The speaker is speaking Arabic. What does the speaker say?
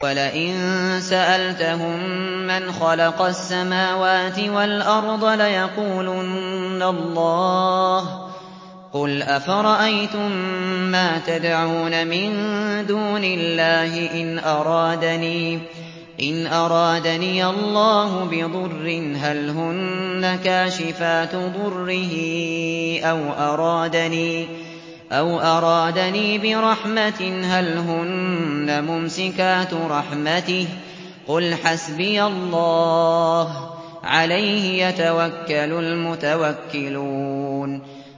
وَلَئِن سَأَلْتَهُم مَّنْ خَلَقَ السَّمَاوَاتِ وَالْأَرْضَ لَيَقُولُنَّ اللَّهُ ۚ قُلْ أَفَرَأَيْتُم مَّا تَدْعُونَ مِن دُونِ اللَّهِ إِنْ أَرَادَنِيَ اللَّهُ بِضُرٍّ هَلْ هُنَّ كَاشِفَاتُ ضُرِّهِ أَوْ أَرَادَنِي بِرَحْمَةٍ هَلْ هُنَّ مُمْسِكَاتُ رَحْمَتِهِ ۚ قُلْ حَسْبِيَ اللَّهُ ۖ عَلَيْهِ يَتَوَكَّلُ الْمُتَوَكِّلُونَ